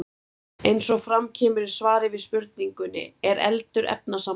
Eins og fram kemur í svari við spurningunni Er eldur efnasamband?